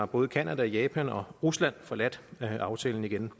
både canada japan og rusland har forladt aftalen igen